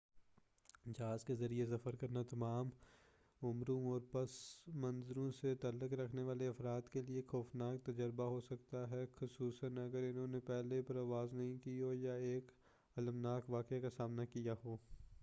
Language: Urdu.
جہاز کے ذریعے سفر کرنا تمام عُمروں اور پس منظروں سے تعلق رکھنے والے افراد کے لیے ایک خوفناک تجربہ ہوسکتا یے خصوصاً اگر اُنہوں نے پہلے پرواز نہیں کی ہو یا ایک المناک واقعے کا سامنا کیا ہو